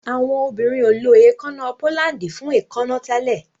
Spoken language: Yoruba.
Awọn obirin o ló èékánná pólándì fún èékánná tẹlẹ.